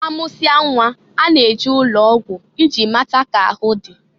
A mụsịa nnwa, a na-eje ụlọ ọgwụ iji mata k'ahụ dị.